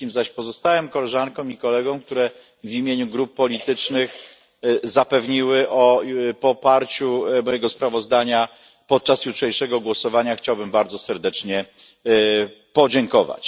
Wszystkim zaś pozostałym koleżankom i kolegom, którzy w imieniu grup politycznych zapewnili o poparciu mojego sprawozdania podczas jutrzejszego głosowania, chciałbym bardzo serdecznie podziękować.